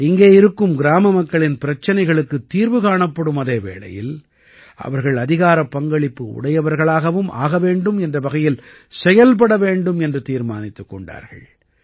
இங்கே இருக்கும் கிராமமக்களின் பிரச்சினைகளுக்குத் தீர்வு காணப்படும் அதே வேளையில் அவர்கள் அதிகாரப்பங்களிப்பு உடையவர்களாகவும் ஆக வேண்டும் என்ற வகையில் செயல்பட வேண்டும் என்று தீர்மானித்துக் கொண்டார்கள்